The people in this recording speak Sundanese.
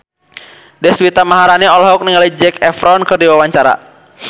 Deswita Maharani olohok ningali Zac Efron keur diwawancara